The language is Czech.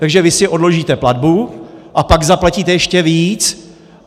Takže vy si odložíte platbu, a pak zaplatíte ještě víc.